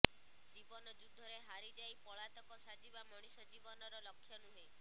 ଜୀବନ ଯୁଦ୍ଧରେ ହାରିଯାଇ ପଳାତକ ସାଜିବା ମଣିଷ ଜୀବନର ଲକ୍ଷ୍ୟ ନୁହେଁ